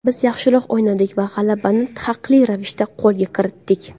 Biz yaxshiroq o‘ynadik va g‘alabani haqli ravishda qo‘lga kiritdik.